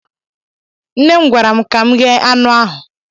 nne m gwara m ka m ghee anụ ahụ